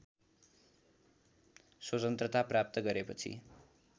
स्वतन्त्रता प्राप्त गरेपछि